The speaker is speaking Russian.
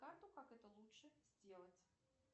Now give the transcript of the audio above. карту как это лучше сделать